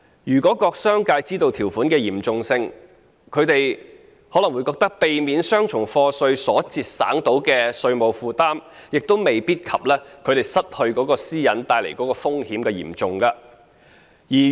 如果商界知道這項條款的嚴重性，他們可能會覺得，避免雙重課稅所節省的稅務負擔未必及他們失去私隱所帶來的風險嚴重。